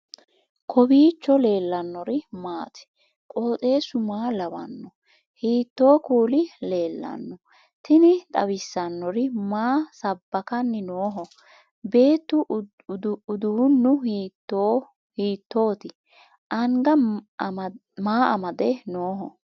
kowiicho leellannori maati ? qooxeessu maa lawaanno ? hiitoo kuuli leellanno ? tini xawissannori maa sabbakanni nooho beetu uduunnu hiitooti anga maa amade nooho